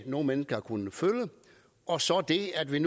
nogle mennesker har kunnet føle og så det at vi